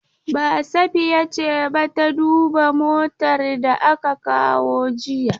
Ba, Safiya ce ba ta duba motar da aka kawo jiya.